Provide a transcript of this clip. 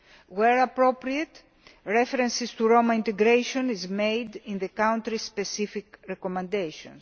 Where appropriate, reference to Roma integration is made in the country specific recommendations.